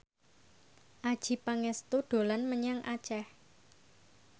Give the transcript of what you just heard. Adjie Pangestu dolan menyang Aceh